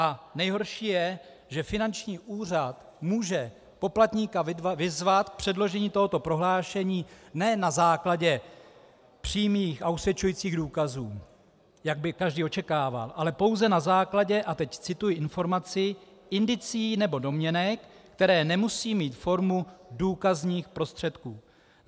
A nejhorší je, že finanční úřad může poplatníka vyzvat k předložení tohoto prohlášení ne na základě přímých a usvědčujících důkazů, jak by každý očekával, ale pouze na základě - a teď cituji informaci - "indicií nebo domněnek, které nemusí mít formu důkazních prostředků".